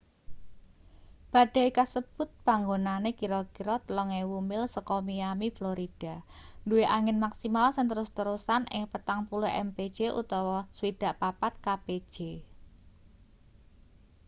badai kasebut panggonane kira-kira 3.000 mil saka miami florida duwe angin maksimal sing terus-terusan ing 40 mpj 64 kpj